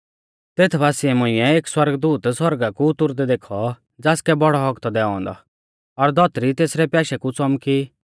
तेत बासिऐ मुंइऐ एक सौरगदूत सौरगा कु उतुरदै देखौ ज़ासकै बौड़ौ हक्क थौ दैऔ औन्दौ और धौतरी तेसरै प्याशै कु च़ौमकी